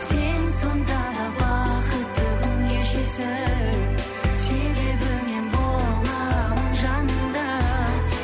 сен сонда да бақытты күн кешесің себебі мен боламын жаныңда